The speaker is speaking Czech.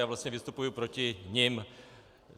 Já vlastně vystupuji proti nim.